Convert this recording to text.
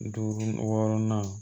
Duuru wɔɔrɔnan